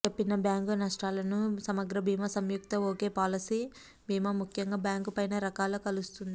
చెప్పిన బ్యాంకు నష్టాలను సమగ్ర భీమా సంయుక్త ఒకే పాలసీ భీమా ముఖ్యంగా బ్యాంకు పైన రకాల కలుస్తుంది